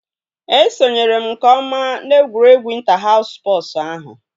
Esonyere m nke ọma na egwuregwu ịnta haus spọsu ahụ